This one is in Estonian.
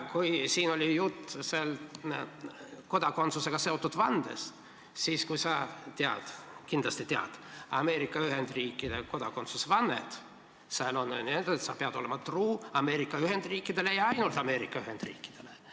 Kui siin oli juttu kodakondsusega seotud vandest, siis kui sa tead – kindlasti tead – Ameerika Ühendriikide kodakondsusvannet, siis seal on öeldud, et sa pead olema truu Ameerika Ühendriikidele ja ainult Ameerika Ühendriikidele.